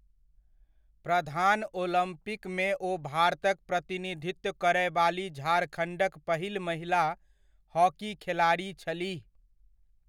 प्रधान ओलम्पिकमे ओ भारतक प्रतिनिधित्व करय वाली झारखण्डक पहिल महिला हॉकी खेलाड़ी छलीह।